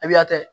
Ibiya tɛ